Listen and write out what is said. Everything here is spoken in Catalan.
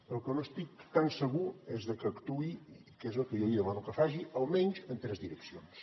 però del que no estic tan segur és de que actuï que és el que jo li demano que faci almenys en tres direccions